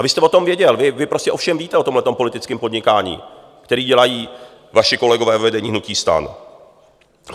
A vy jste o tom věděl, vy prostě o všem víte, o tomto politickém podnikání, které dělají vaši kolegové ve vedení hnutí STAN.